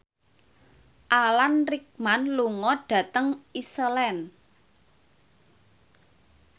Alan Rickman lunga dhateng Iceland